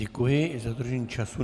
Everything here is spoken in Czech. Děkuji za dodržení času.